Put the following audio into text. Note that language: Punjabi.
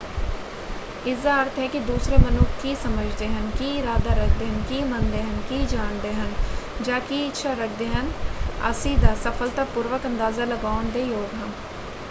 ਇਸਦਾ ਅਰਥ ਹੈ ਕਿ ਦੂਸਰੇ ਮਨੁੱਖ ਕੀ ਸਮਝਦੇ ਹਨ ਕੀ ਇਰਾਦਾ ਰੱਖਦੇ ਹਨ ਕੀ ਮੰਨਦੇ ਹਨ ਕੀ ਜਾਣਦੇ ਹਨ ਜਾਂ ਕੀ ਇੱਛਾ ਰੱਖਦੇ ਹਨ ਅਸੀਂ ਦਾ ਸਫਲਤਾਪੂਰਬਕ ਅੰਦਾਜ਼ਾ ਲਗਾਉਣ ਦੇ ਯੋਗ ਹਾਂ।